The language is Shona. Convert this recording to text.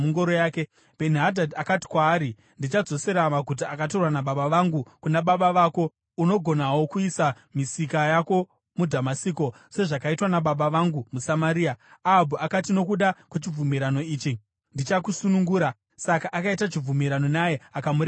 Bheni-Hadhadhi akati kwaari, “Ndichadzosera maguta akatorwa nababa vangu kuna baba vako. Unogonawo kuisa misika yako muDhamasiko, sezvakaitwa nababa vangu muSamaria.” Ahabhu akati, “Nokuda kwechibvumirano ichi, ndichakusunungura.” Saka akaita chibvumirano naye, akamurega achienda.